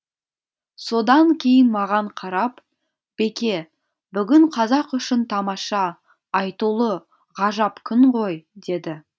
содан кейін маған қарап беке бүгін қазақ үшін тамаша айтулы ғажап күн ғой деді